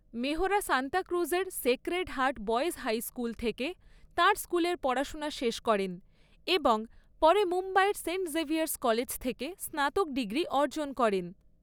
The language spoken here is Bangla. মেহরা সান্তাক্রুজের Sacred Heart Boys High School থেকে তাঁর স্কুলের পড়াশোনা শেষ করেন এবং পরে মুম্বাইয়ের সেন্ট জেভিয়ার্স কলেজ থেকে স্নাতক ডিগ্রি অর্জন করেন।